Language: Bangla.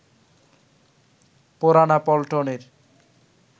পুরানা পল্টনের